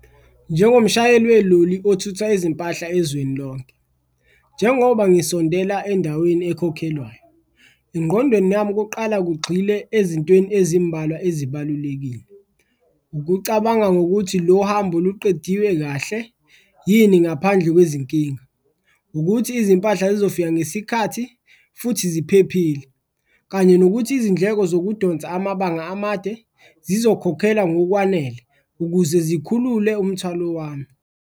Njengomshayeli weloli othutha izimpahla ezweni lonke, njengoba ngisondela endaweni ekhokhelwayo engqondweni yami kuqala kugxile ezintweni ezimbalwa ezibalulekile. Ukucabanga ngokuthi, lo hambo luqediwe kahle yini ngaphandle kwezinkinga? Ukuthi izimpahla zizofika ngesikhathi futhi ziphephile, kanye nokuthi izindleko zokudonsa amabanga amade zizokhokhelwa ngokwanele ukuze zikhulule umthwalo wami.